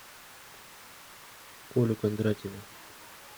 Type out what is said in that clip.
колю кондратьева